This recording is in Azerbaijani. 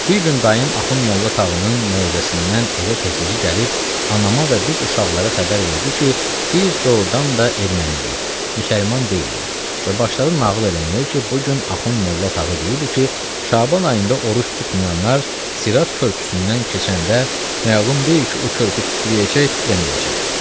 Bir gün dayım Axund Molla Tağının moizəsindən evə tez-təzə gəlib anama və biz uşaqlara xəbər verdi ki, biz doğrudan da erməniyik, müsəlman deyilik və başladı nağıl eləməyə ki, bu gün Axund Molla Tağı deyirdi ki, Şaban ayında oruc tutmayanlar Sirat körpüsündən keçəndə məlum deyil ki, o körpü titrəyəcək, titrəməyəcək.